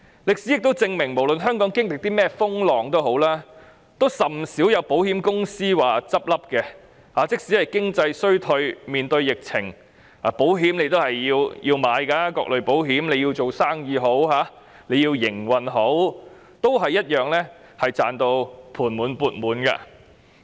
歷史亦證明，無論香港經歷甚麼風浪，也甚少有保險公司結業，即使是經濟衰退及面對疫情，大家也要購買各類保險，無論是做生意或營運，均同樣賺到盤滿缽滿。